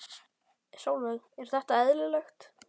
Sólveig: Er þetta eðlilegt?